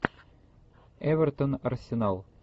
эвертон арсенал